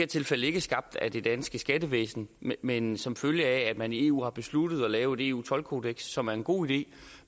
tilfælde ikke er skabt af det danske skattevæsen men som følge af at man i eu har besluttet at lave et eu toldkodeks som er en god idé